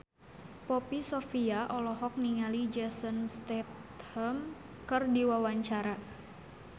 Poppy Sovia olohok ningali Jason Statham keur diwawancara